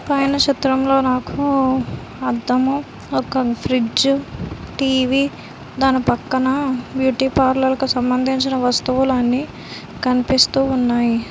పైన చిత్రంలో నాకు అద్దం ఒక ఫ్రిడ్జ్ టీ_వీ దాని పక్కన బ్యూటీ పార్లర్ కు సంబంధించిన వస్తువులన్నీ కనిపిస్తూ ఉన్నాయి.